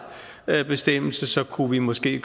bestemmelse kunne vi måske